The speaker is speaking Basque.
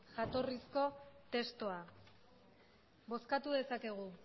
jatorrizko testua bozkatu dezakegu